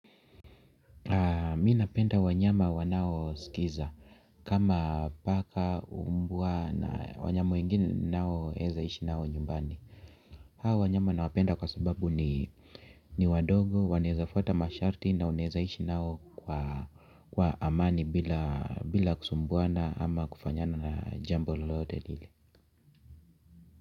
Mi napenda wanyama wanao sikiliza kama paka umbwa na wanyama wengine nao weza ishi nao nyumbani. Hawa wanyama nawapenda kwa sababu ni wadogo, waneza fata masharti na unaweza ishi nao kwa amani bila kusumbuana ama kufanyiana na jambo lote lile.